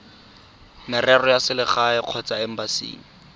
merero ya selegae kgotsa embasing